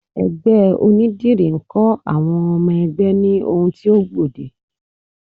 Ẹgbẹ́ onídìrí ń kọ́ àwọn ọmọ ẹgbẹ́ ní ohun tí ó gbòde